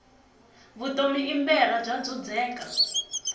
vutomi i mberha bya dzudzeka